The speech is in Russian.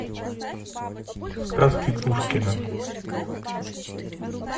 сказки пушкина